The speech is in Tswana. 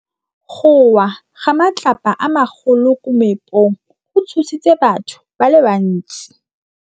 Go wa ga matlapa a magolo ko moepong go tshositse batho ba le bantsi.